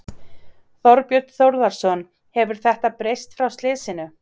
Þorbjörn Þórðarson: Hefur þetta breyst frá slysinu?